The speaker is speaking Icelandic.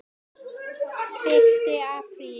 Fyrsti apríl.